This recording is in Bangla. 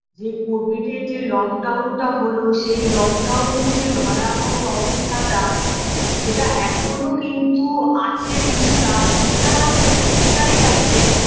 যে covid -এর যে lock down -টা হলো সেই lock down -এর যে ভয়াবহ অবস্থাটা সেটা এখনও কিন্তু আছে কিছুটা কিছুটা না বেশ অনেকটাই আছে